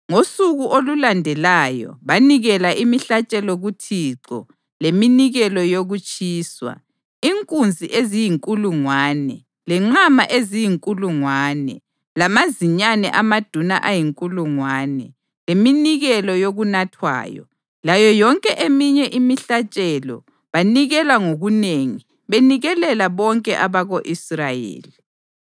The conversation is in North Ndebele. Ngosuku olulandelayo banikela imihlatshelo kuThixo leminikelo yokutshiswa: inkunzi eziyinkulungwane, lenqama eziyinkulungwane lamazinyane amaduna ayinkulungwane, leminikelo yokunathwayo, layo yonke eminye imihlatshelo banikela ngokunengi benikelela bonke abako-Israyeli.